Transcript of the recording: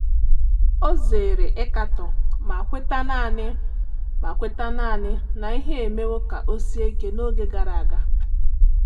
Ọ zere ịkatọ ma kweta naanị ma kweta naanị na ihe emewo ka ọ sie ike n’oge gara aga.